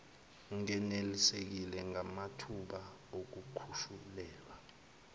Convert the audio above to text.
ngenelisiwe ngamathuba okukhushulelwa